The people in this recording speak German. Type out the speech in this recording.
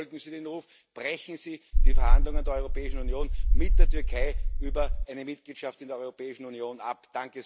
Daher Bitte folgen Sie dem Ruf, brechen Sie die Verhandlungen der Europäischen Union mit der Türkei über eine Mitgliedschaft in der Europäischen Union ab!